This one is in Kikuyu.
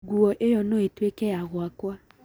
nguo ĩyo no ĩtuĩke ya gwakwa.